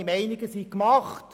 Die Meinungen sind gemacht.